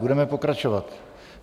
Budeme pokračovat.